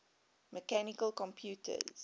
mechanical computers